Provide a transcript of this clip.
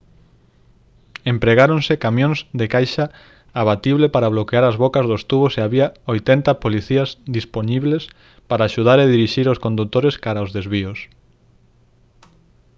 empregáronse camións de caixa abatible para bloquear as bocas dos tubos e había 80 policías dispoñibles para axudar a dirixir os condutores cara os desvíos